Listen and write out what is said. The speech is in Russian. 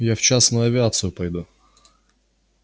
я в частную авиацию пойду